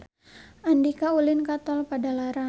Andika ulin ka Tol Padalarang